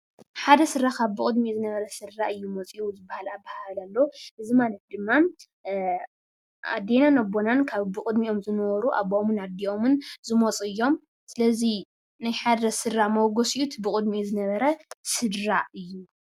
ሓደ ስድራ ካብ ብቅድሚኡ ዝነበረ ስድራ እዩ መፂኡ ዝበሃል ኣበሃህላ ኣሎ ። እዚ ማለት ድማ ኣቦናን ኣዴናን ካብ ብቅድሚኦም ዝነበሩ ኣቦኦምን ኣዲኦምን ዝመፁ እዩም። ስለዚ ናይ ሓደ ስድራ መበገሲኡ እቲ ብቅድሚኡ ዝነበረ ስድራ እዩ።